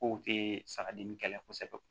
Kow te saga dimi kɛlɛ kosɛbɛ